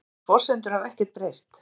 Þær forsendur hafa ekkert breyst